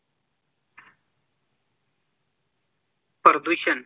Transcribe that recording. प्रदूषण